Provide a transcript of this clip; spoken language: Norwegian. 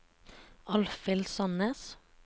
Alfhild Sandnes